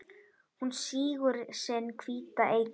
Hún sýgur sinn hvíta eitur